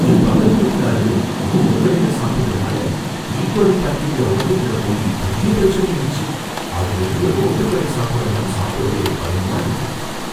என் பக்கத்து வீட்டுக்காரரு ரோட்டுக்கடையில சாப்பிட்டதனால இ கோலை பாக்டீரியா உடம்புக்குள்ள போயி பெரிய பிரச்சனையாயிடுச்சு, அதுல இருந்து ரோட்டுக்கடை சாப்பாடெல்லாம் சாப்பிடவே பயமா இருக்கு